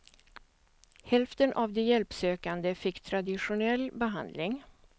Hälften av de hjälpsökande fick traditionell behandling.